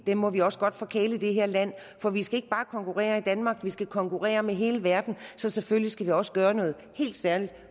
dem må vi også godt forkæle i det her land for vi skal ikke bare konkurrere i danmark vi skal konkurrere med hele verden så selvfølgelig skal vi også gøre noget helt særligt